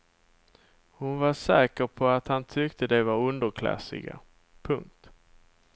Hon var säker på att han tyckte de var underklassiga. punkt